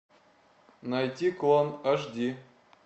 найти клан аш ди